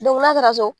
n'a taara so